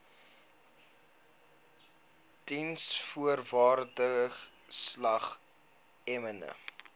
diensvoorwaardesalgemene